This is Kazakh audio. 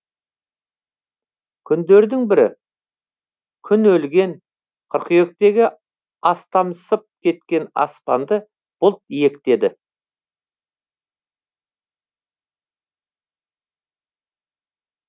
күндердің бірі күн өлген қыркүйектегі астамсып кеткен аспанды бұлт иектеді